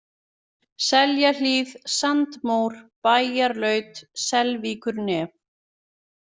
Seljahlíð, Sandmór, Bæjarlaut, Selvíkurnef